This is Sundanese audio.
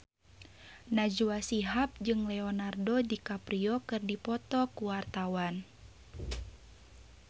Najwa Shihab jeung Leonardo DiCaprio keur dipoto ku wartawan